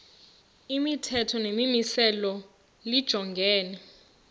imithetho nemimiselo lijongene